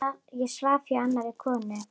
Ég svaf hjá annarri konu.